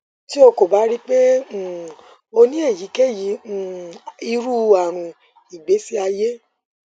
ti o ko ba rii pe um o ni eyikeyi um iru arun igbesi aye